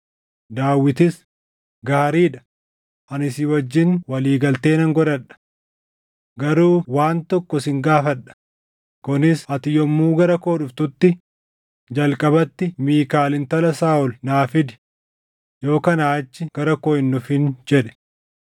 Daawitis, “Gaarii dha; ani si wajjin walii galtee nan godhadha. Garuu waan tokko sin gaafadha; kunis ati yommuu gara koo dhuftutti jalqabatti Miikaal intala Saaʼol naa fidi; yoo kanaa achii gara koo hin dhufin” jedhe.